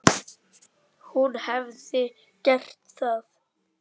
Hún hefði gert það.